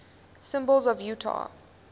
symbols of utah